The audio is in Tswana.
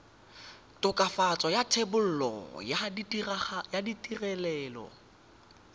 tokafatso ya thebolo ya ditirelo